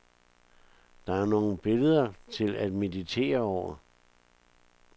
Der er nogle billeder til at meditere over.